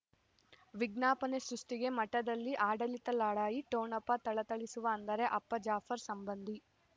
ವಿಜ್ಞಾಪನೆ ಸೃಷ್ಟಿಗೆ ಮಠದಲ್ಲಿ ಆಡಳಿತ ಲಢಾಯಿ ಠೊಣಪ ಥಳಥಳಿಸುವ ಅಂದರೆ ಅಪ್ಪ ಜಾಫರ್ ಸಂಬಂಧಿ